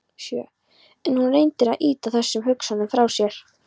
En hún reyndi að ýta þessum hugsunum frá sér.